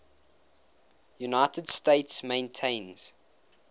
united states maintains